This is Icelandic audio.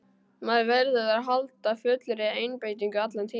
Maður verður að halda fullri einbeitingu allan tímann.